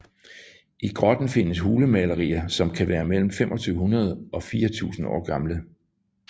I grotten findes hulemalerier som kan være mellem 2500 og 4000 år gamle